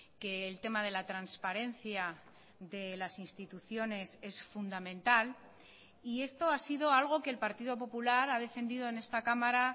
que el tema de la transparencia de las instituciones es fundamental y esto ha sido algo que el partido popular ha defendido en esta cámara